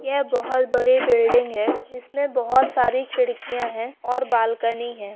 ये बोहत बडी बिल्डिंग है इसमे बोहत सारी खिड़किया है और बालकनी है।